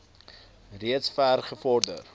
reeds ver gevorder